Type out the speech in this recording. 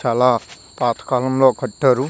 ఆలా పాత కలం ల కట్టారు .